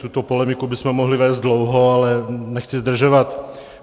Tuto polemiku bychom mohli vést dlouho, ale nechci zdržovat.